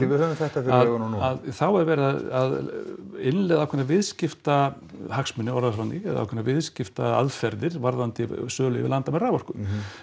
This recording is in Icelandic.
við höfum þetta fyrir augunum núna að þá er verið að innleiða ákveðna viðskiptahagsmuni orðum það þannig eða ákveðna viðskiptaaðferðir varðandi sölu yfir landamæri á raforku